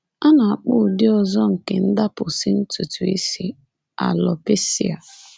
A na-akpọ ụdị ọzọ nke ndapụsị ntutu isi alopecia.